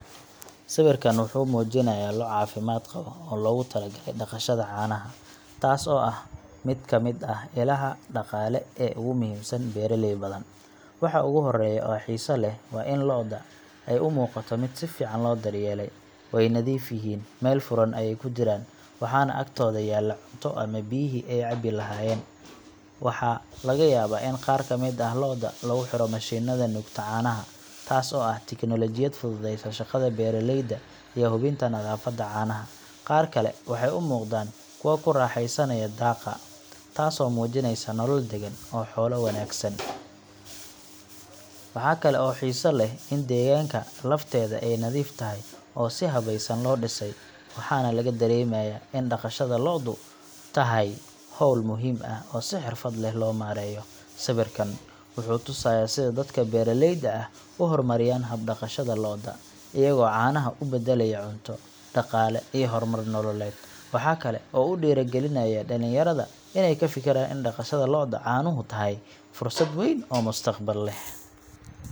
Sawirkan wuxuu muujinayaa lo’ caafimaad qaba oo loogu talagalay dhaqashada caanaha, taas oo ah mid ka mid ah ilaha dhaqaale ee ugu muhiimsan beeraley badan. Waxa ugu horreeya ee xiiso leh waa in lo’da ay u muuqato mid si fiican loo daryeelay way nadiif yihiin, meel furan ayay ku jiraan, waxaana agtooda yaalla cunto ama biyihii ay cabi lahaayeen. Waxaa laga yaabaa in qaar ka mid ah lo’da lagu xiro mashiinada nuugta caanaha, taas oo ah tiknoolajiyad fududeysa shaqada beeraleyda iyo hubinta nadaafadda caanaha. Qaar kale waxay u muuqdaan kuwo ku raaxeysanaya daaqa, taasoo muujinaysa nolol deggan oo xoolo wanaagsan. Waxa kale oo xiiso leh in deegaanka lafteeda ay nadiif tahay oo si habaysan loo dhisay, waxaana laga dareemayaa in dhaqashada lo'du tahay hawl muhiim ah oo si xirfad leh loo maareeyo. Sawirkan wuxuu tusayaa sida dadka beeraleyda ahi u horumariyeen habka dhaqashada lo’da, iyagoo caanaha u beddelaya cunto, dhaqaale iyo horumar nololeed. Waxa kale oo uu dhiirrigelinayaa dhalinyarada inay ka fikiraan in dhaqashada lo’da caanuhu tahay fursad weyn oo mustaqbal leh.